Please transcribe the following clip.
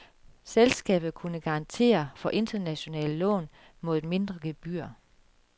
Selskabet kunne garantere for internationale lån mod et mindre gebyr.